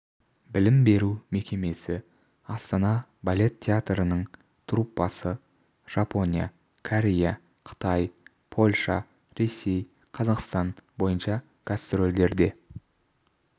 білім беру мекемесі астана балет театрының труппасы жапония корея қытай польша ресей қазақстан бойынша гастрольдерде